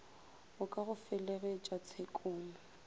go ka go felegetša tshekong